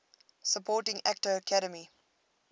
supporting actor academy